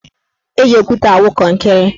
Eji okwute awụ kọnkịrị.